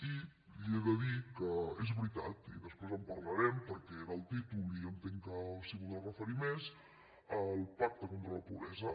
i li he de dir que és veritat i després en parlarem perquè era el títol i entenc s’hi voldrà referir més al pacte contra la pobresa